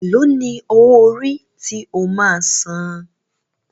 Ẹ̀ló ní owó orí tí o máa a san?